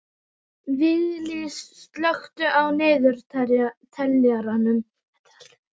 Viglís, slökktu á niðurteljaranum.